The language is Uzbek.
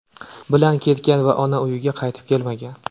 bilan ketgan va ona uyiga qaytib kelmagan.